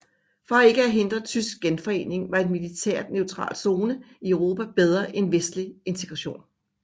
For ikke at hindre tysk genforening var en militært neutral zone i Europa bedre end vestlig integration